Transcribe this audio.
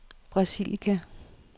Brasilia